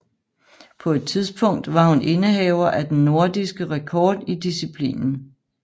På et tidspunkt var hun indehaver af den nordiske rekord i disciplinen